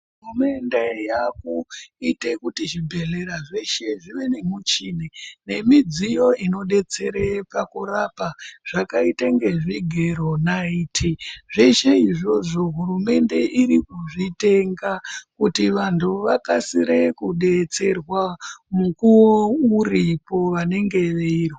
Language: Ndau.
Hurumende yakuite kuti zvibhedhleya zveshe zvive nemuchini nemidziyo inodetsere pakurapa zvakaite ngezvigero, naiti zveshe izvozvo hurumende irikuzvitenga kuti vantu vakasire kudetserwa mukuwo uripo vanenge veirwara.